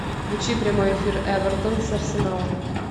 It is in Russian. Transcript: включи прямой эфир эвертон с арсеналом